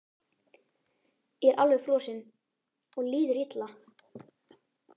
Ég er alveg frosinn og líður illa.